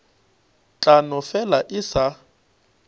tla no fela e sa